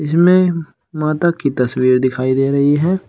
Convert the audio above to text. जिसमें माता की तस्वीर दिखाई दे रही है।